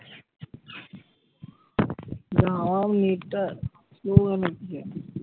হাওয়ায় net টা হচ্ছে।